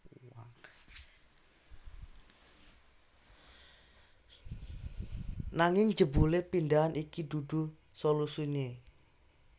Nanging jebule pindhahan iki dudu solusine